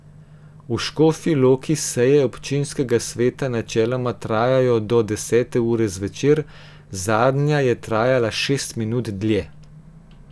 V Škofji Loki seje občinskega sveta načeloma trajajo do desete ure zvečer, zadnja je trajala šest minut dlje.